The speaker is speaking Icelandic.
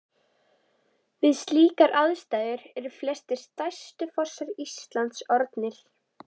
Við slíkar aðstæður eru flestir stærstu fossar landsins til orðnir.